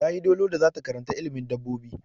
Ta yi dolo da zata karanta ilimin dabobbi.